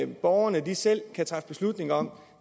borgerne selv kan træffe beslutning om